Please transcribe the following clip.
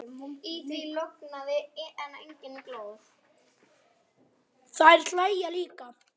Þær hlæja líka.